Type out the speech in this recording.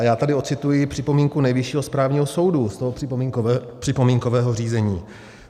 A já tady odcituji připomínku Nejvyššího správního soudu z tohoto připomínkového řízení.